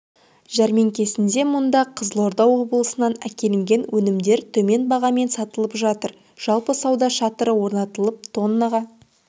жәрмеңкесінде мұнда қызылорда облысынан әкелінген өнімдер төмен бағамен сатылып жатыр жалпы сауда шатыры орнатылып тоннаға